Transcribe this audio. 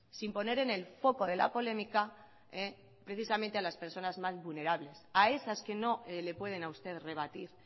sin poner en el foco de la polémica precisamente a las personas más vulnerables a esas que no le pueden a usted rebatir